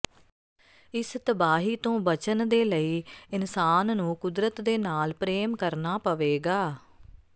ਇਸ ਤਬਾਹੀ ਤੋਂ ਬਚਨ ਦੇ ਲਈ ਇਨਸਾਨ ਨੂੰ ਕੁਦਰਤ ਦੇ ਨਾਲ ਪ੍ਰੇਮ ਕਰਨਾ ਪਵੇਗਾ